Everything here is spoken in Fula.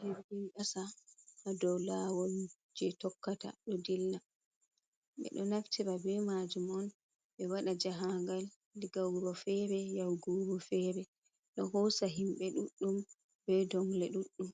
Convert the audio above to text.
Jirgin kasa hadow lawol je tokkata do dilla be do naftira be majum on be wada jahangal diga wuro fere yahgu wuro fere do hosa himbe duddum be dongle duɗdum